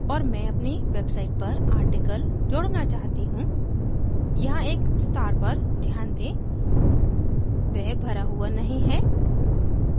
और मैं अपनी website पर article जोड़ना चाहती हूँ यहाँ एक star पर ध्यान दें वह भरा हुआ नहीं है